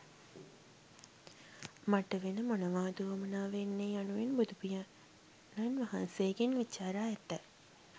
මට වෙන මොනවාද වුවමනා වෙන්නේ යනුවෙන් බුදුපියාණන් වහන්සේගෙන් විචාරා ඇත.